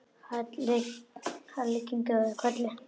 Halli kinkaði kolli.